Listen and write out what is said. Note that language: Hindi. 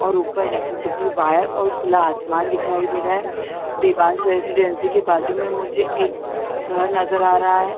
और ऊपर इलेक्ट्रिसिटी वायर और खुला आसमान दिखाई दे रहा है देवांश रेसिडेंट्स के बाजु में मुझे एक घर नजर आ रहा है।